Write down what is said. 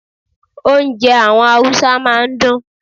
Hausa food is always sweet.